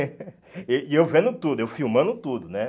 Eh e eu vendo tudo, eu filmando tudo, né?